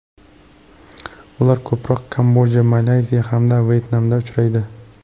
Ular ko‘proq Kamboja, Malayziya hamda Vyetnamda uchraydi.